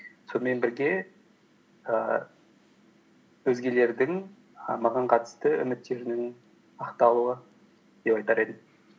сонымен бірге ііі өзгелердің маған қатысты үміттерінің ақталуы деп айтар едім